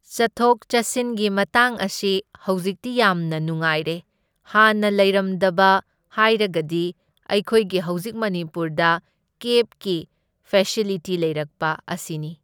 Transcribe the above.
ꯆꯠꯊꯣꯛ ꯆꯠꯁꯤꯟꯒꯤ ꯃꯇꯥꯡ ꯑꯁꯤ ꯍꯧꯖꯤꯛꯇꯤ ꯌꯥꯝꯅ ꯅꯨꯡꯉꯥꯏꯔꯦ, ꯍꯥꯟꯅ ꯂꯩꯔꯝꯗꯕꯗ ꯍꯥꯏꯔꯒꯗꯤ ꯑꯩꯈꯣꯏꯒꯤ ꯍꯧꯖꯤꯛ ꯃꯅꯤꯄꯨꯔꯗ ꯀꯦꯞꯀꯤ ꯐꯦꯁꯤꯂꯤꯇꯤ ꯂꯩꯔꯛꯄ ꯑꯁꯤꯅꯤ꯫